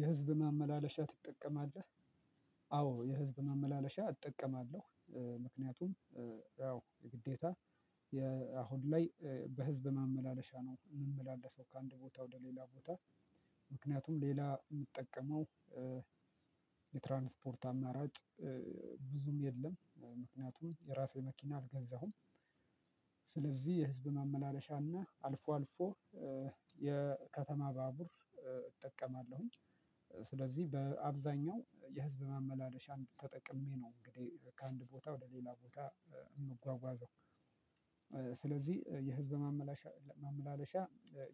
የህዝብ ማመላለሻ ትጠቀማለህ? አዎ፣ የህዝብ ማመላለሻ እጠቀማለሁ፤ ምክንያቱም፣ ያው የግዴታ የአሁን ላይ በህዝብ ማመላለሻ ነው የምመላለሰው ከአንድ ቦታ ወደ ሌላ ቦታ፤ ምክንያቱም፣ ሌላ የምጠቀመው የትራንስፖርት አማራጭ ብዙም የለም፤ ምክንያቱም የራሴ መኪና አልገዛሁም፤ ስለዚህ የህዝብ ማመላለሻና፤ አልፎ፣ አልፎ የከተማ ባቡር እጠቀማለሁኝ፤ ስለዚህ በአብዛኛው የህዝብ ማመላለሻን ተጠቅሜ ነው እንግዲህ ከአንድ ቦታ ወደ ሌላ ቦታ እምጓጓዘው፤ ስለዚህ የህዝብ ማመላለሻ፣ ማመላለሻ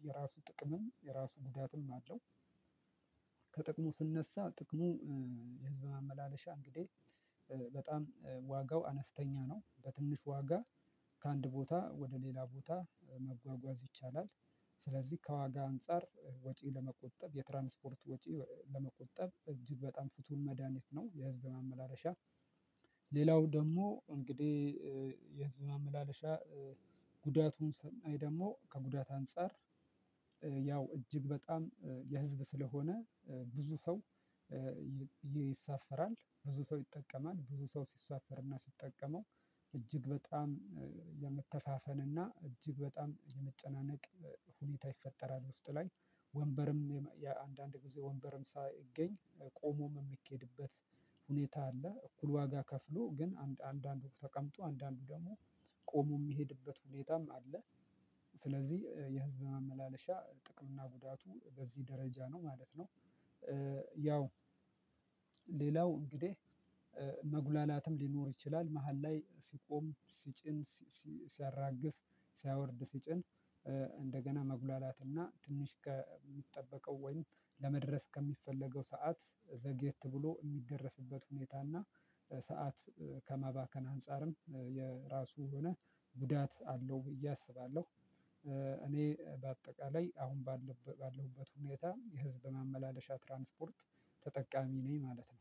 የራሱ ጥቅምም፣ የራሱ ጉዳትም አለው፣ ከጥቅሙ ስነሳ፣ ጥቅሙ የህዝብ ማመላለሻ እንግዲህ በጣም ዋጋው አነስተኛ ነው፤ በትንሽ ዋጋ ከአንድ ቦታ ወደ ሌላ ቦታ መጓጓዝ ይቻላል፤ ስለዚህ ከዋጋ አንፃር ወጪ ለመቆጠብ፤ የትራንስፖርት ወጪ ለመቆጠብ፤ እጅግ በጣም ፍቱን መድሃኒት ነው የህዝብ ማመላለሻ፤ ሌላው ደግሞ እንግዲህ የህዝብ ማመላለሻ ጉዳቱን ስናይ ደግሞ፤ ከጉዳት አንፃር ያው እጅግ በጣም የህዝብ ስለሆነ ብዙ ሰው ይሳፈራል፤ ብዙ ሰው ይጠቀማል፤ ብዙ ሰው ሲሳፈርና ሲጠቀመው እጅግ በጣም የመተፋፈንና እጅግ በጣም የመጨናነቅ ሁኔታ ይፈጠራል ውስጥ ላይ፤ ወንበርም የአንዳንድ ጊዜ ወንበርም ሳይገኝ ቆሞም የሚኬድበት ሁኔታ አለ፤ እኩል ዋጋ ከፍሎ ግን አንድ አንድ አንዱ ተቀምጦ፤ አንዳንዱ ደግሞ ቆሞ የሚሄድበት ሁኔታም አለ፤ ስለዚህ የህዝብ ማመላለሻ ጥቅምና ጉዳቱ በዚህ ደረጃ ነው ማለት ነው። ያው፤ ሌላው እንግዲህ፣ መጉላላትም ሊኖር ይችላል መሃል ላይ ሲቆም፤ ሲጭን ሲያራግፍ፤ ሲያወርድ ሲጭን፤ እንደገና መጉላላትና ትንሽ ከሚጠበቀው ወይም ለመድረስ ከሚፈለገው ሰዓት ዘግየት ብሎ እሚደረስበት ሁኔታና ሰዓት ከማባከን አንፃርም የራሱ የሆነ ጉዳት አለው ብዬ አስባለሁ፤ እኔ በአጠቃላይ አሁን ባለሁበት ሁኔታ የህዝብ ማመላለሻ ትራንስፖርት ተጠቃሚ ነኝ ማለት ነው፤